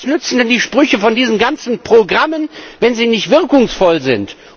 Was nützen denn diese Sprüche von diesen ganzen Programmen, wenn sie nicht wirkungsvoll sind!